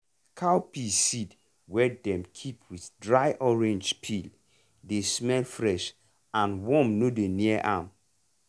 cowpea seed wey dem keep with dry orange peel dey smell fresh and worm no dey near am.